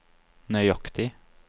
nøyaktig